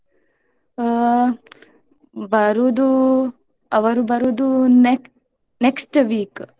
ಹಾ ಬರುದು ಅವರು ಬರುದು ne~ next week .